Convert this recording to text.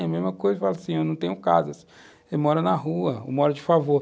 É a mesma coisa, eu falo assim, eu não tenho casa, eu moro na rua, eu moro de favor.